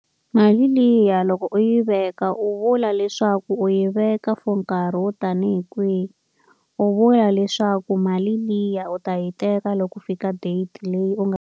Mali liya loko u yi veka u vula leswaku u yi veka for nkarhi wo tanihi kwihi. U vula leswaku mali liya u ta yi teka loko u fika date leyi u nga.